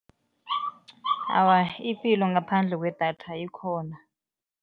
Awa, ipilo ngaphandle kwedatha ikhona.